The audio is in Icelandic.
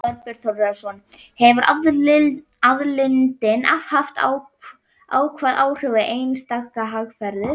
Þorbjörn Þórðarson: Hefur aðildin haft jákvæð áhrif á eistneska hagkerfið?